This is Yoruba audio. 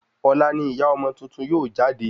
Ọ̀la ni ìyá ọmọ tuntun yóò jáde